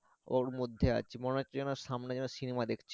ওর মধ্যে আছি মনে হচ্ছে যেন সামনে যেন শিমলা দেখছি।